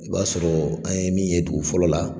I b'a sɔrɔɔ an ye min ye dugu fɔlɔ la